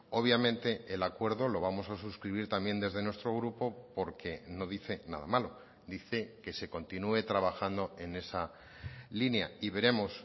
obviamente el acuerdo lo vamos a suscribir también desde nuestro grupo porque no dice nada malo dice que se continúe trabajando en esa línea y veremos